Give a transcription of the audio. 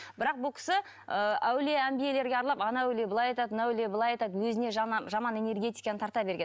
бірақ бұл кісі ы әулие әмбиелерге аралап анау әулие былай айтады мына әулие былай айтады өзіне жаман жаман энергетиканы тарта берген